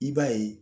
I b'a ye